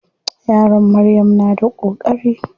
Yaron Maryam na da koƙari.